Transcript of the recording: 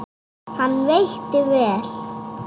Hann veitti vel